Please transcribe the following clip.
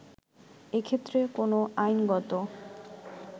এ ক্ষেত্রে কোন আইনগত